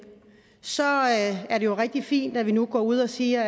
er det jo rigtig fint at vi nu går ud og siger